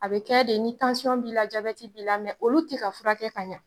A bɛ kɛ de ni b'i la, ni b'i la olu ti ka furakɛ ka ɲa